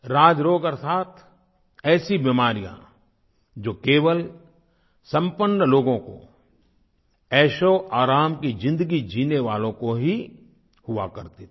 राजरोग अर्थात ऐसी बीमारियाँ जो केवल संपन्न लोगों को ऐशओआराम की ज़िंदगी जीने वालों को ही हुआ करती थी